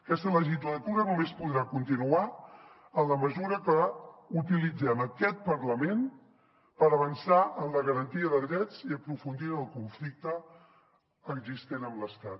aquesta legislatura només podrà continuar en la mesura que utilitzem aquest parlament per avançar en la garantia de drets i aprofundir en el conflicte existent amb l’estat